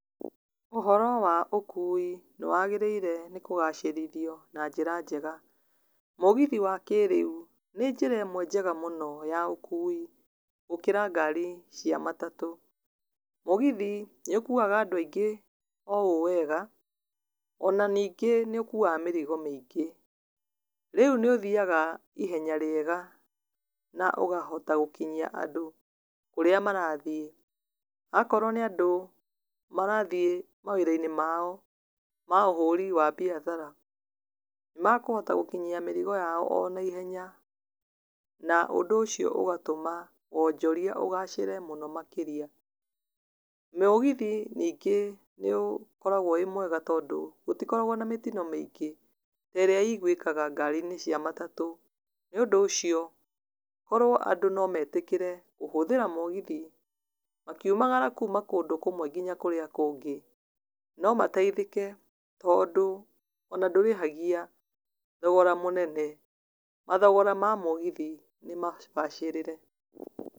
Ũhoro wa ũkui nĩwagĩrĩire kũgacĩrithio na njĩra njega. Mũgithi wa kĩrĩu nĩnjĩra ĩmwe njega mũno ya ũkui gũkĩra ngari cia matatũ. Mũgithi nĩũkuaga andũ aingĩ o ũũ wega ona nyingĩ nĩũkuaga mĩrigo mĩngĩ. Rĩu nĩũthiaga ihenya rĩega na ũkahota gũkinyoa andũ kũrĩa marathiĩ. Akorwo nĩ andũ marathiĩ mawĩra-inĩ mao ma ũhũri wa biacara, makũhota gũkinyia mĩrigo yao onaihenya na ũndũ ũcio ũgatũma wonjoria ũgacere mũno makĩria. Mũgithi nyingĩ nĩũkoragwo wĩmwega tondũ gũtikoragwo na mĩtino mĩingĩ ta ĩrĩa yonekaga ngari-inĩ cia matatũ. Nĩũndũ ũcio korwo andũ nometĩkĩre kũhũthĩra mũgithi makiumagara kuuma kũndũ kũmwe nginya kũrĩ kũngi no mateithĩke tondũ ona ndũrĩhagia thogora mũnene. Mathogora ma mũgithi nĩmabacĩrĩre.